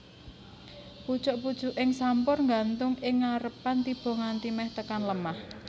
Pucuk pucuking sampur nggantung ing ngarepan tiba nganti meh tekan lemah